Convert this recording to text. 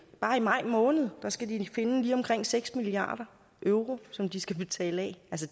bare i maj måned skal de finde lige omkring seks milliard euro som de skal betale af